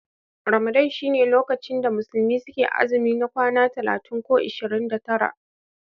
Ramadan shine lokacin da musulmi suke azumi na kwanaki 30 ko 29.